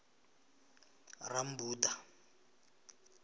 rammbuḓa